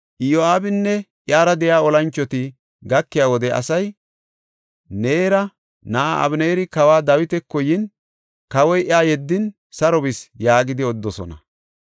Iyo7aabinne iyara de7iya olanchoti gakiya wode asay, “Neera na7aa Abeneeri kawa Dawitako yin, kawoy iya yeddin saro bis” yaagidi odidosona.